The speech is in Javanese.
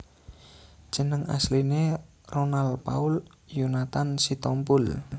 Jeneng asline Ronal Paul Yonathan Sitompul